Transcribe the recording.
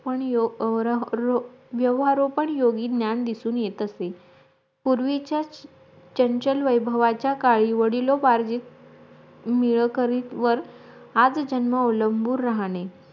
पण ह्यो व्यव व्यवहार रुपी ज्ञान दिसून येत असे पूर्वीचा चंचल वैभवाच्या काळी वडिलोपार्जितमिळकतीवर आजन्म आवलंबून राहणे